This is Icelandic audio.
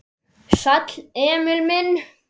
Sæll, Emil minn.